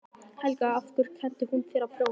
Helga: Og af hverju kenndi hún þér að prjóna?